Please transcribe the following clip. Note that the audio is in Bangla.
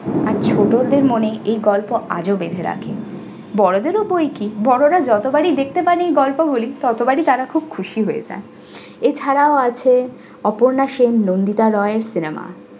আর ছোটদের মনে এই গল্প আজও বেঁধে রাখে। বড়দেরও বৈ কি বড়রা যতোবারই দেখতে পান এই গল্পগুলি ততবারই তারা খুব খুশি হয়ে যায়। এছাড়া আছে অপর্ণা সেন, নন্দিতা নয় cinema